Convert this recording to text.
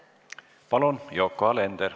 Palun, Yoko Alender!